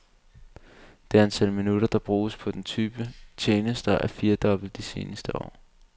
Det antal minutter, der bruges på den type tjenester, er firdoblet de seneste tre år.